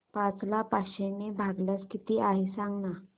पाच ला पाचशे ने भागल्यास किती आहे सांगना